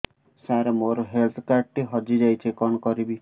ସାର ମୋର health card ଟି ହଜି ଯାଇଛି କଣ କରିବି